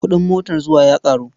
Kuɗin motar zuwa ya ƙaru.